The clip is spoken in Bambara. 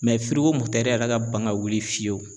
yɛrɛ ka ban ka wuli fiyewu